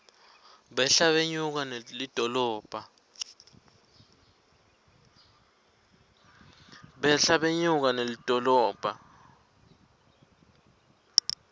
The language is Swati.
behla benyuka nelidolobha